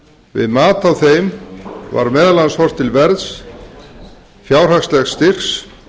við mat á þeim var meðal annars horft til verðs fjárhagslegs styrks